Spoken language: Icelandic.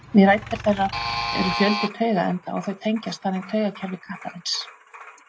Við rætur þeirra eru fjöldi taugaenda og þau tengjast þannig taugakerfi kattarins.